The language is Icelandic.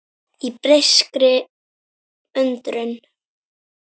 Í beiskri undrun.